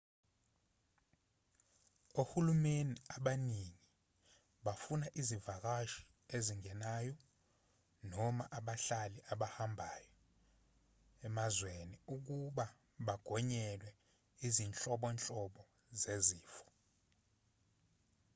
ohulumeni abaningi bafuna izivakashi ezingenayo noma abahlali abahambayo emazweni abo ukuba bagonyelwe izinhlobonhlobo zezifo